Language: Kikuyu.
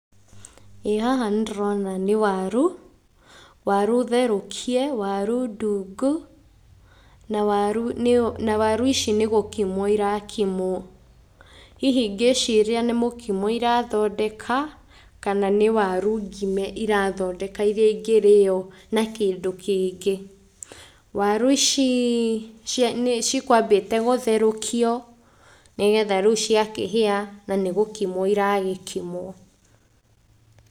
ĩĩ haha nĩ ndĩrona nĩ waru, waru therũkĩe, waru ndungu, na waru nĩ, na waru ici nĩ gũkimwo irakimwo, hihi ngĩciria nĩ mũkimo irathondeka, kana nĩ waru ngime irathondeka iria ingĩrĩo na kĩndũ kĩngĩ, waru ici ciĩ nĩ cikwambĩte gũtherũkio nĩgetha rĩu cia kĩhĩa na nĩ gũkimwo iragĩkimwo.